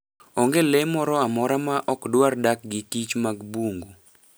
Onge le moro amora ma ok dwar dak gikich mag bungu.